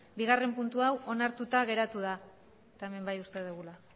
bigarrena puntu hau onartuta geratu da eta hemen bai uzten dugula